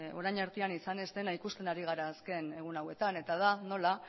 orain artean izan ez dena ikusten ari gara azken egun hauetan eta da nola